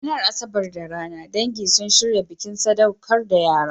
A ranar Asabar da rana, dangi sun shirya bikin sadaukar da yara.